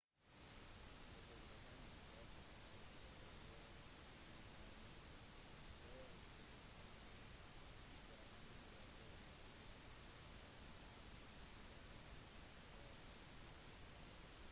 begge gruppene treffes etter hvert i den store semifinalen der noosa overkjørte vinnere med 11 poeng